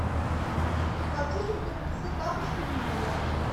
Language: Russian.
хочу чтобы мне принесли тапочки в номер